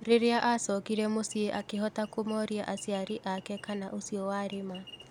Rĩĩaacokire muciĩ akĩhota kũmoria aciari ake kana ũcio warĩ ma.